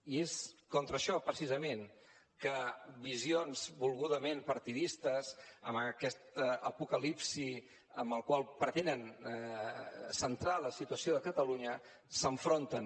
i és contra això precisament que visions volgudament partidistes amb aquesta apocalipsi amb la qual pretenen centrar la situació de catalunya s’enfronten